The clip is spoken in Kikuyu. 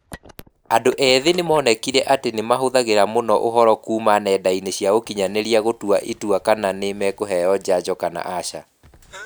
Andũ ethĩ nĩ monekire atĩ nĩ mahũthagĩra mũno ũhooro kuuma nenda-inĩ cia ukinyanĩria gũtua itua rĩa kana nĩ makũheo njanjo kana aca.